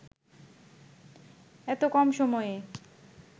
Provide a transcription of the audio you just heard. এত কম সময়ে